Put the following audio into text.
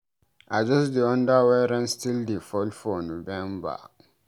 I just dey wonder why rain still dey fall for November.